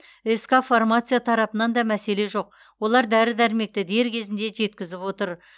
ск фармация тарапынан да мәселе жоқ олар дәрі дәрмекті дер кезінде жеткізіп отыр